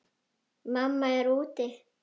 Mamma er úti.